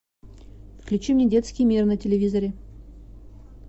включи мне детский мир на телевизоре